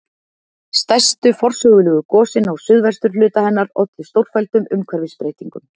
Stærstu forsögulegu gosin á suðvesturhluta hennar ollu stórfelldum umhverfisbreytingum.